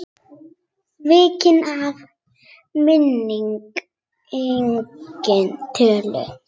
Svikinn af minni eigin tölu.